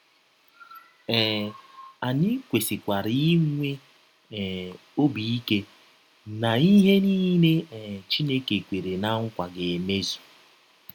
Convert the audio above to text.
um Anyị kwesịkwara inwe um ọbi ike na ihe niile um Chineke kwere ná nkwa ga - emezụ.